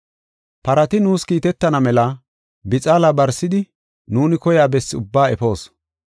Parati nuus kiitetana mela bixaala barsidi nuuni koyiya bessi ubbaa efoos.